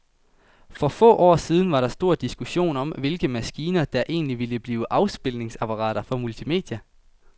For få år siden var der stor diskussion om, hvilke maskiner, der egentlig ville blive afspilningsapparater for multimedia.